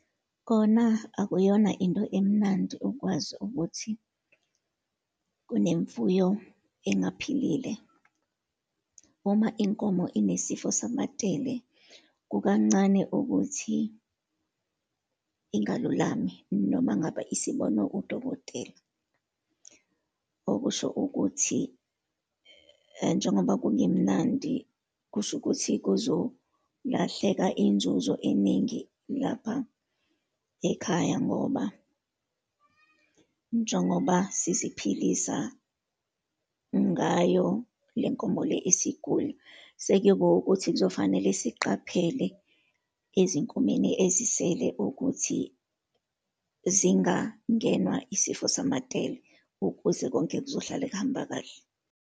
Kona akuyona into emnandi ukwazi ukuthi kunemfuyo engaphilile. Uma inkomo inesifo samatele, kukancane ukuthi ingalulami, noma ngabe isibonwe udokotela. Okusho ukuthi njengoba kungemnandi, kusho ukuthi kuzolahleka inzuzo eningi lapha ekhaya, ngoba njengoba siziphilisa ngayo le nkomo le esigula. Sekuyiba ukuthi kuzofanele siqaphele ezinkomeni ezisele ukuthi zingangenwa isifo samatele ukuze konke kuzohlala kuhamba kahle.